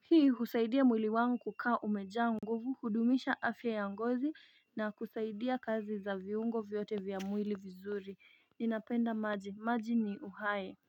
hii husaidia mwili ukawa kaa umejaa nguvu Hudumisha afya ya ngozi na kusaidia kazi za viungo vyote vya mwili vizuri ninapenda maji maji ni uhai.